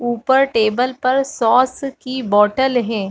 ऊपर टेबल पर सॉस की बॉटल हैं।